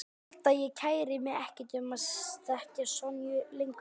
Ég held að ég kæri mig ekkert um að þekkja Sonju lengur.